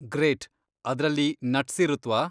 Great! ಅದ್ರಲ್ಲಿ nuts ಇರುತ್ವಾ?